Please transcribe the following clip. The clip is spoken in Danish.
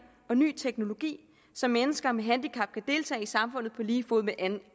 og ny teknologi så mennesker med handicap kan deltage i samfundet på lige fod med